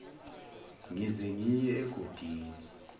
ngize ngiye egodini